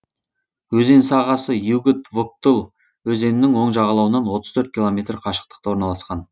өзен сағасы югыд вуктыл өзенінің оң жағалауынан отыз төрт километр қашықтықта орналасқан